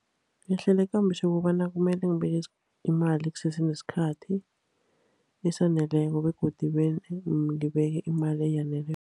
Ngihlela ikambiso yokobana kumele ngibeke imali kusese nesikhathi esaneleko, begodu ngibeke imali eyaneleko.